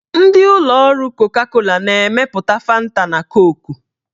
Ndị ụlọ ọrụ koka-kola na-emepụta fanta na koku.